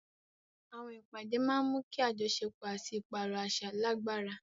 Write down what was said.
Àwọn ìpàdé máa ń mú kí àjọṣepọ̀ àti ìpààrọ̀ àṣà lágbára.